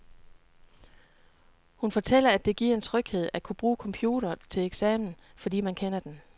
Hun fortæller, at det giver en tryghed at kunne bruge computer til eksamen, fordi man kender den.